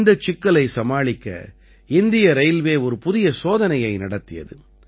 இந்தச் சிக்கலை சமாளிக்க இந்திய ரயில்வே ஒரு புதிய சோதனையை நடத்தியது